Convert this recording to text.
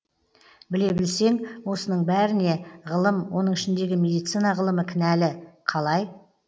біле білсең осының бәріне ғылым оның ішіндегі медицина ғылымы кінәлі қалай